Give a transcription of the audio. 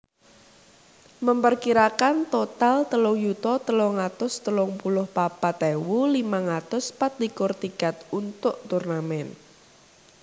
memperkirakan total telung yuta telung atus telung puluh papat ewu limang atus patlikur tiket untuk turnamen